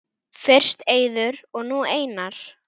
Fyrst Eiður og nú Einar??